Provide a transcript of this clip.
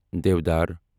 دیودار